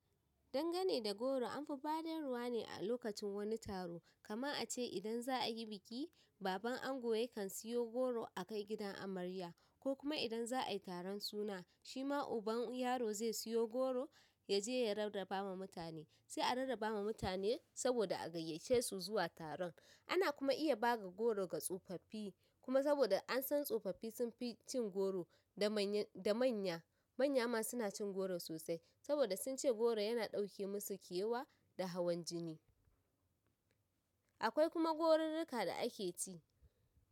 Dangane da goro amfi badarwa ne a a lokacin wani taro, kaman ace idan za'ayi biki, baban ango yankan siyo goro akai gidan amarya, ko kuma idan za ai taron wani suna, shima uban yaro zai siyo goro ya je ya rarraba ma mutane, sai a rarraba ma mutane saboda a gayyace su zuwa taran. Ana kuma iya bada goro ga tsofaffi kuma saboda an san tsofaffi sun fi cin goro da manya. Manya ma suna cin goro sosai saboda sun ce goro yana ɗauke musu kewa da hawan jini. Akwai kuma gorirrika da ake ci.